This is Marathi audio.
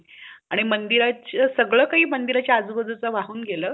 आणि मंदिरचा सगळे काही मंदिरचा आजूबाजूच वाहून गेला